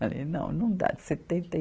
Falei, não, não dá, setenta e